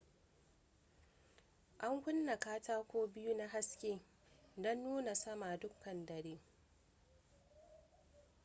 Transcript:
an kunna katako biyu na haske don nuna sama dukkan dare